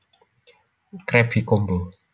Krabby Combo